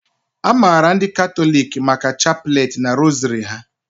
A maara ndị Katọliki maka chapleti na rosary ha